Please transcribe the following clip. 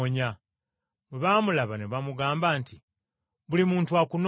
bwe baamulaba ne bamugamba nti, “Buli muntu akunoonya.”